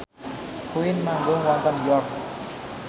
Queen manggung wonten York